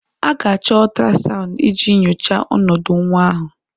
A ga-achọ ultrasound iji nyochaa ọnọdụ nwa ahụ